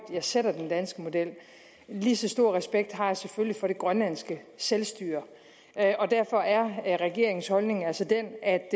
værdsætter den danske model lige så stor respekt har jeg selvfølgelig for det grønlandske selvstyre og derfor er regeringens holdning altså den at